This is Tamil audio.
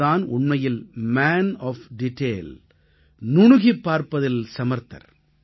அவர் தான் உண்மையில் மான் ஒஃப் டீட்டெயில் நுணுகிப் பார்ப்பதில் சமர்த்தர்